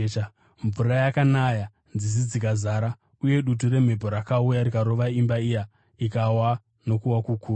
Mvura yakanaya, nzizi dzikazara, uye dutu remhepo rakauya rikarova imba iya ikawa nokuwa kukuru.”